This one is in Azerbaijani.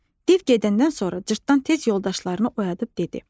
Div gedəndən sonra cırtdan tez yoldaşlarını oyadıb dedi.